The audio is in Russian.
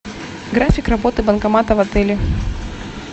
график работы банкомата в отеле